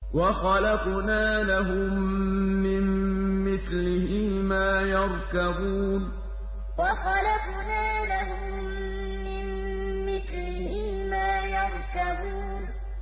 وَخَلَقْنَا لَهُم مِّن مِّثْلِهِ مَا يَرْكَبُونَ وَخَلَقْنَا لَهُم مِّن مِّثْلِهِ مَا يَرْكَبُونَ